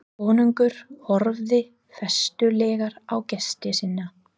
Konungur horfði festulega á gesti sína.